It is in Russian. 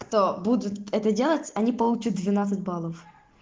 кто будет это делать они получат двенадцать баллов